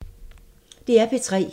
DR P3